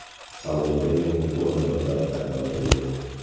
Salonda yangi o‘rindiqlar paydo bo‘ldi.